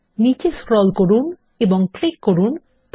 নীচে স্ক্রল করুন এবং ক্লিক করুন প্লে